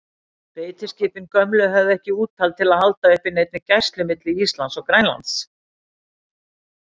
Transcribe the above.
Beitiskipin gömlu höfðu ekki úthald til að halda uppi neinni gæslu milli Íslands og Grænlands.